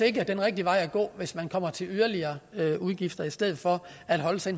ikke er den rigtige vej at gå hvis man kommer til yderligere udgifter i stedet for at holde sig